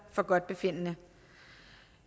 forgodtbefindende